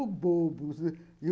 Ô, bobo.